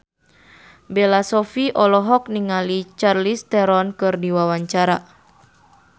Bella Shofie olohok ningali Charlize Theron keur diwawancara